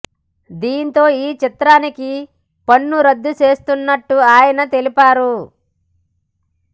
దీంతో ఈ చిత్రానికి పన్ను రద్దు చేస్తున్నట్టు ఆయన తెలిపారు